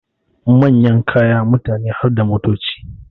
Manyan kaya, mutane harda motoci